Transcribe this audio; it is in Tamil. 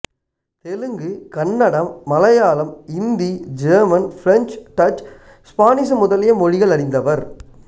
Telugu Kannada Malayalam Hindi German French Dutch Spanish முதலிய மொழிகள் அறிந்தவர்